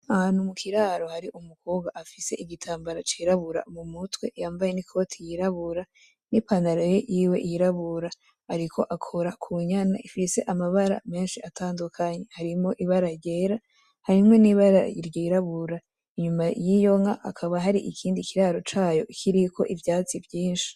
Ahantu mu kiraro hari umukobwa afise igitambara cirabora mu mutwe, yambaye n’ikoti yirabura n’ipantaro yiwe yirabura. Ariko akora ku nyana ifise amabara menshi atandukanye. Harimwo ibara ryera, harimwo n’ibara ryirabura. Inyuma y’iyo nka hakaba hari ikindi kiraro cayo kiriko ivyatsi vyinshi